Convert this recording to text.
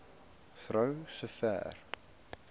vrou so ver